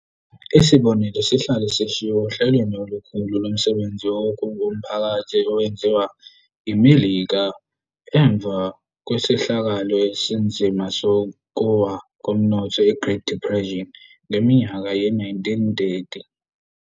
Isibonelo sihlale sishiwo ohlelweni olukhulu lomsebenzi womphakathi owenziwa iMelika emva kwesehlakalo esinzima sokuwa komnotho i-Great Depression ngeminyaka ye-1930.